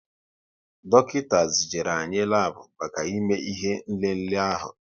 Dọkịta zijere anyị labu maka ime ihe nlele ahu